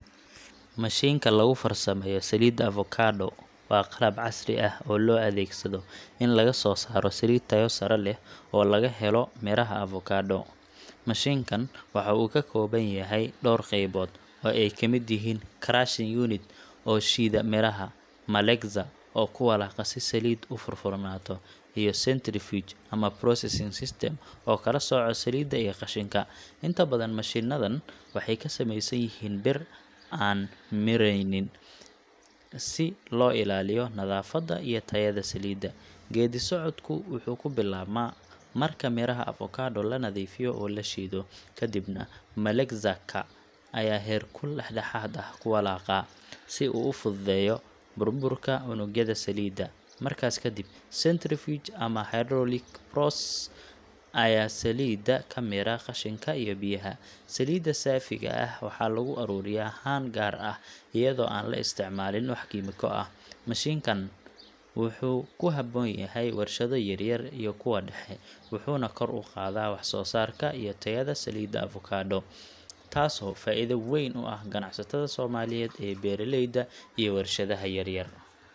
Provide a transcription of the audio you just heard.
Mashiinka lagu farsameeyo saliidda avocado waa qalab casri ah oo loo adeegsado in laga soo saaro saliid tayo sare leh oo laga helo miraha avocado. Mashiinkan waxa uu ka kooban yahay dhowr qaybood, oo ay ka mid yihiin: crushing unit oo shiida miraha, malaxer oo ku walaaqa si saliiddu u furfuranto, iyo centrifuge ama pressing system oo kala sooca saliidda iyo qashinka. Inta badan mashiinadan waxay ka samaysan yihiin bir aan miranayn stainless steel, si loo ilaaliyo nadaafadda iyo tayada saliidda. Geeddi-socodku wuxuu ku bilaabmaa marka miraha avocado la nadiifiyo oo la shiido. Kadibna malaxer ka ayaa heerkul dhexdhexaad ah ku walaaqa, si uu u fududeeyo burburka unugyada saliidda. Markaas kadib, centrifuge ama hydraulic press ayaa saliidda ka miira qashinka iyo biyaha. Saliidda saafiga ah waxaa lagu ururiyaa haan gaar ah, iyadoo aan la isticmaalin wax kiimiko ah. Mashiinkani wuxuu ku habboon yahay warshado yaryar iyo kuwa dhexe, wuxuuna kor u qaadaa wax-soosaarka iyo tayada saliidda avocado, taasoo faa’iido weyn u ah ganacsatada Soomaaliyeed ee beeraleyda iyo warshadaha yar-yar.